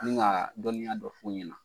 Ni ka dɔniyaa dɔ fɔ u ɲɛna.